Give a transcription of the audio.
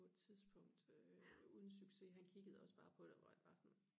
på et tidspunkt øh uden succes han kiggede også bare på det og var sådan